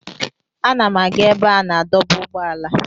Ana m aga ebe a na-adọba ụgbọala.